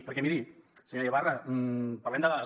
perquè miri senyora ibarra parlem de dades